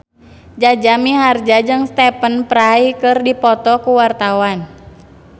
Jaja Mihardja jeung Stephen Fry keur dipoto ku wartawan